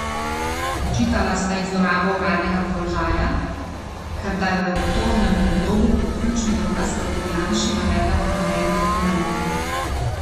Očitala sta ji zlorabo uradnega položaja, ker da je v obtožnem predlogu kot ključni dokaz proti Janši navedla ponarejen dokument.